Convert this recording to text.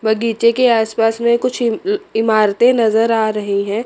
बगीचे के आसपास में कुछ इमारतें नज़र आ रही हैं।